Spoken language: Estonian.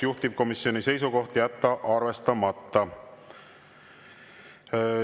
Juhtivkomisjoni seisukoht on jätta arvestamata.